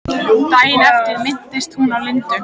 Daginn eftir minntist hún á Lindu.